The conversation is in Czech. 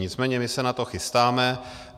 Nicméně my se na to chystáme.